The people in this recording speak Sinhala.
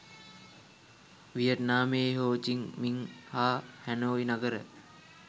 වියට්නාමයේ හෝ චිං මිං හා හැනෝයි නගර